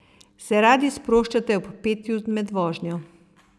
Se radi sproščate ob petju med vožnjo?